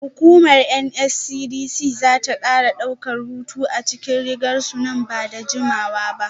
Hukumar NSCDC za ta kara daukar hoto a cikin rigar su nan ba da jimawa ba.